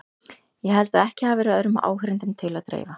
Ég held að ekki hafi verið öðrum áheyrendum til að dreifa.